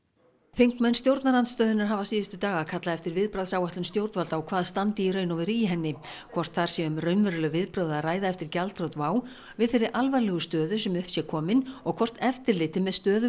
þingmenn stjórnarandstöðunnar hafa síðustu daga kallað eftir viðbragðsáætlun stjórnvalda og hvað standi í raun og veru í henni hvort þar sé um raunveruleg viðbrögð að ræða eftir gjaldþrot WOW við þeirri alvarlegu stöðu sem upp sé komin og hvort eftirliti með stöðu